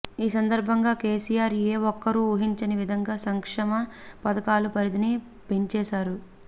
ఈ సందర్భంగా కేసీఆర్ ఏ ఒక్కరూ ఊహించని విధంగా సంక్షమ పథకాల పరిధిని పెంచేశారు